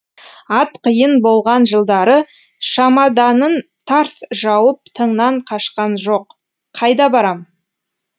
ат қиын болған жылдары шамаданын тарс жауып тыңнан қашқан жоқ қайда барам